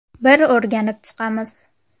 Bir o‘rganib chiqamiz.